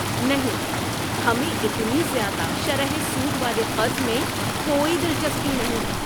نہیں! ہمیں اتنی زیادہ شرح سود والے قرض میں کوئی دلچسپی نہیں ہے۔